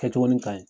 Kɛtogo ni kaɲi